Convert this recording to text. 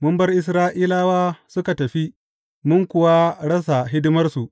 Mun bar Isra’ilawa suka tafi, mun kuwa rasa hidimarsu!